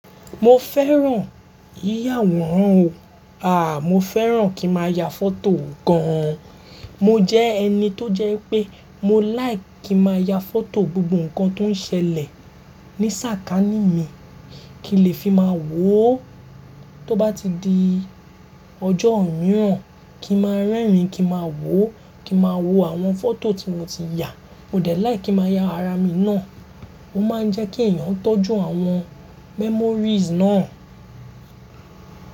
Mo fẹ́ràn yíyàwòrán o. A! Mo fẹ́ràn kí ma ya foto gan an, mo jẹ́ ẹni tó jẹ́ wípé mo like kí ma ya foto gbogbo nǹkan tó ń ṣẹlẹ̀ ní sàkání mi, kí n lè fi máa wò ó tó bá ti di. Ọjọ́ mìíràn, kí ma rẹ́rìn-ín kí ma wò ó, kí ma wo àwọn foto tí mo ti ya. Mo dẹ̀ like kí ma ya ara mi náà. Ó máa ń jẹ́ kí ẹ̀yàn tọ́jú àwọn memories náà.